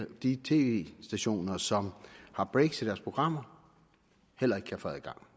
de tv stationer som har breaks i deres programmer heller ikke kan få adgang